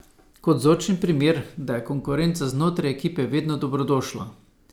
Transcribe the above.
Kot vzorčen primer, da je konkurenca znotraj ekipe vedno dobrodošla.